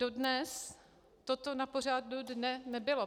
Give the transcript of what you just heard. Dodnes toto na pořadu dne nebylo.